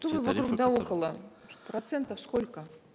что вы вокруг да около процентов сколько